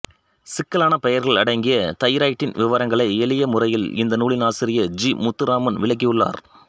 சிக்கலான பெயர்கள் அடங்கிய தைராய்டின் விவரங்களை எளிய முறையில் இந்த நூலின் ஆசிரியர் ஜி முத்துராமன் விளக்கியுள்ளார்